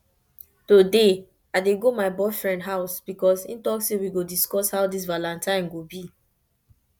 today i dey go my boyfriend house because im say we go discuss how dis valentine go be